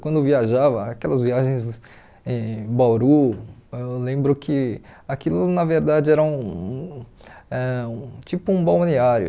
Quando viajava, aquelas viagens em Bauru, eu lembro que aquilo na verdade era um ãh um tipo um balneário.